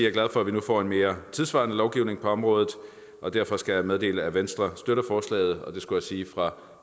er glad for at vi nu får en mere tidssvarende lovgivning på området derfor skal jeg meddele at venstre støtter forslaget og jeg skulle sige fra